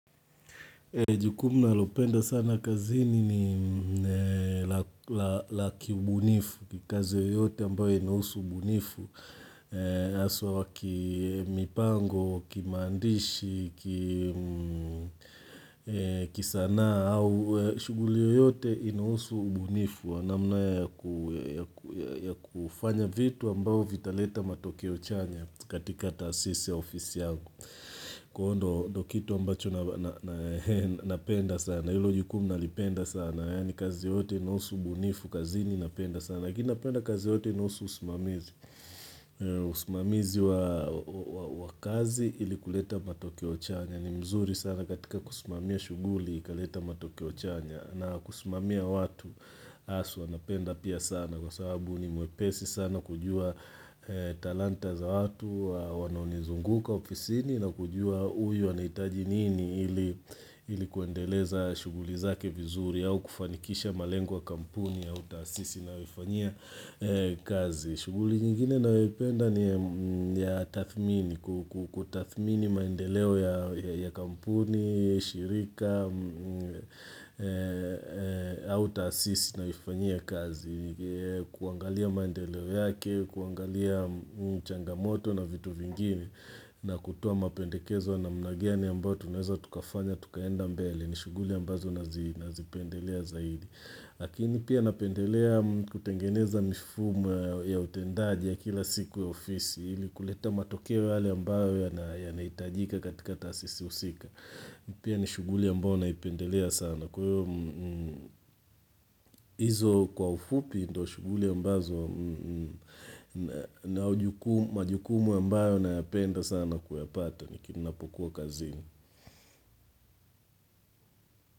Jukumu ninalopenda sana kazini ni la kiubunifu, kikazi oyote ambayo inousu ubunifu, aswa wakimipango, kimandishi, kisana, au shuguli oyote inousu ubunifu. Namna ya kufanya vitu ambao vitaleta matokeo chanya katika taasisi ya ofisi yangu Kuhondo dokitu ambacho napenda sana Ilo jukumna lipenda sana Yani kazi yote nosu bunifu kazi ni napenda sana Gina penda kazi yote nosu usumamizi Usumamizi wa kazi ili kuleta matokeo chanya ni mzuri sana katika kusumamia shuguli kaleta matokeo chanya na kusumamia watu asu wanapenda pia sana kwa sababu ni muepesi sana kujua talanta za watu Wanonizunguka ofisini na kujua uyu wanaitaji nini ilikuendeleza shuguli zake vizuri au kufanikisha malengwa kampuni ya utasisi na uifanya kazi shuguli jingine naweipenda ni ya tathmini, kutathmini maendeleo ya kampuni, shirika, auto assist na ifanye kazi. Kuangalia maendeleo yake, kuangalia changamoto na vitu vingini na kutuwa mapendekezo na mnagiani ambayo tuneza tukafanya, tukaenda mbele. Ni shuguli ambazo nazipendelea zaidi. Hakini pia napendelea kutengeneza mifumu ya utendaji ya kila siku ya ofisi Hili kuleta matokewa hali ambayo ya na itajika katika tasisi usika Pia ni shuguli ambayo na ipendelea sana Kwa hizu kwa ufupi ndo shuguli ambazo na majukumu ambayo na apenda sana kuyapata Nikini napokuwa kazini.